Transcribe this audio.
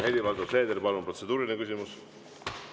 Helir-Valdor Seeder, palun, protseduuriline küsimus!